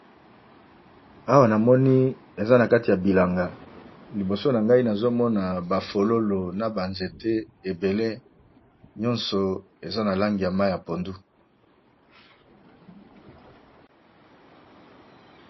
Awa ñamoni eza nakati ya bilanga libiso na gai nazomone ba fololo eza na Langi ya pondu